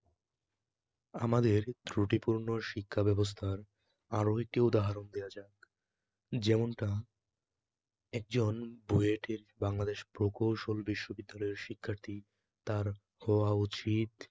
আমাদের ত্রুটিপূর্ণ শিক্ষাব্যবস্থার আরও একটি উদাহরণ দেয়া যাক, যেমনটা একজন বুয়েট এর বাংলাদেশ প্রকৌশল বিশ্ববিদ্যালয়ের শিক্ষার্থী, তার হওয়া উচিত